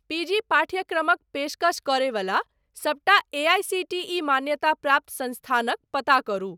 PG पाठ्यक्रमक पेशकश करयवला सबटा एआईसीटीई मान्यताप्राप्त संस्थानक पता करु।